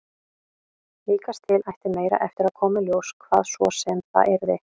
Líkast til ætti meira eftir að koma í ljós, hvað svo sem það yrði.